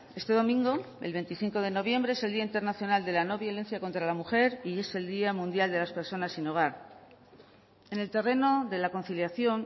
este domingo el veinticinco de noviembre es el día internacional de la no violencia contra la mujer y es el día mundial de las personas sin hogar en el terreno de la conciliación